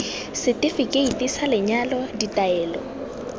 seti keiti sa lenyalo ditaelo